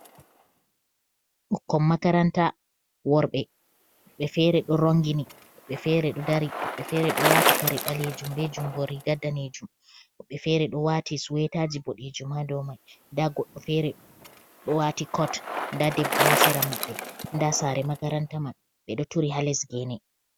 Bukkon makaranta worbe, wobbe fere do rongini, wobbe feredo dari, wobbe fere do wati kare balejum be jungo ri ga danejum ,wobbe fere do wati suwetaji bodejum ha domai .Da goddo fere do wati kot ,da debbo hasera mabbe ,da sare makaranta man ,be do turi ha lesgene